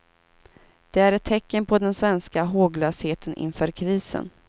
Det är ett tecken på den svenska håglösheten inför krisen.